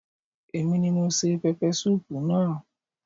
Èmi ni mo se pẹpẹsúù naa